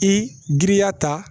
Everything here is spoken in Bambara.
I giriya ta